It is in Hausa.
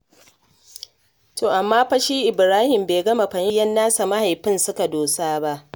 To amma fa shi Ibrahim bai gama fahimtar inda yayyen nasa mahaifin suka dosa ba.